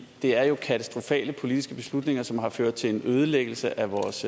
er jo katastrofale politiske beslutninger som har ført til en ødelæggelse af vores